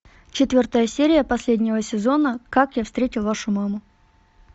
четвертая серия последнего сезона как я встретил вашу маму